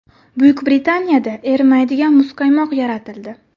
Buyuk Britaniyada erimaydigan muzqaymoq yaratildi.